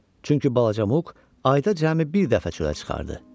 Çünki balaca Muk ayda cəmi bir dəfə çölə çıxardı.